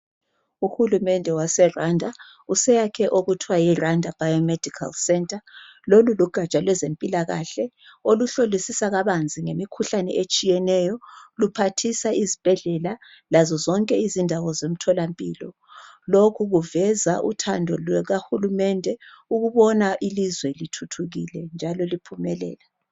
Ohulumende waseRwanda useyakhe okuthiwa yiRwanda Biomedical centre. Lolulugatsha lwezempilakahle oluhlolisisa kabanzi ngemikhuhlane etshiyeneyo, luphathisa izibhedlela lazo zonke izindawo zemtholampilo. Lokhu kuveza uthando lukahulumende ukubona ilizwe lithuthukile.